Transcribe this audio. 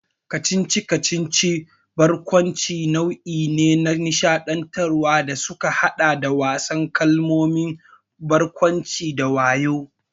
Kacici-kacici da barkwanci nau'i ne na nishaɗantarwa da suka haɗa da wasan kalmomi, barkwanci, da wayo.